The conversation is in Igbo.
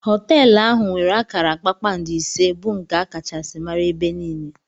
Hotelu ahụ nwere akara kpakpando ise bu nke Akachasi mara ebe niile.